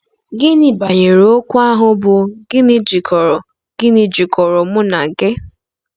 Gịnị banyere okwu ahụ bụ́ “ gịnị jikọrọ “ gịnị jikọrọ mụ na gị?”